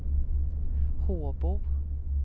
Håbo